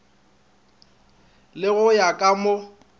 le go ya ka mo